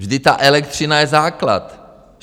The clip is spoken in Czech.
Vždyť ta elektřina je základ.